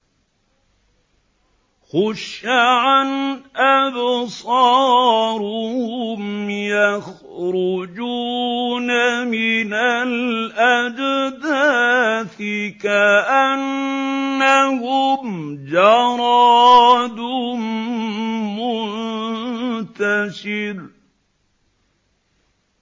خُشَّعًا أَبْصَارُهُمْ يَخْرُجُونَ مِنَ الْأَجْدَاثِ كَأَنَّهُمْ جَرَادٌ مُّنتَشِرٌ